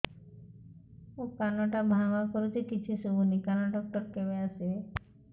ମୋ କାନ ଟା ଭାଁ ଭାଁ କରୁଛି କିଛି ଶୁଭୁନି କାନ ଡକ୍ଟର କେବେ ଆସିବେ